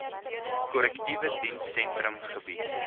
korrektiewe dienssentrum gebied